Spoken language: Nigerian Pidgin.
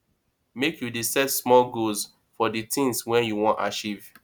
make you dey set small goals of di tins wey you wan achieve